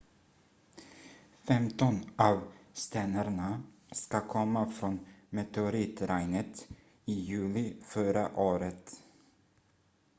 femton av stenarna ska komma från meteoritregnet i juli förra året